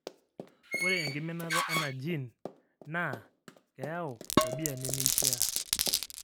ore enkiminata ena gene naa keyau tabia nemeishiaa.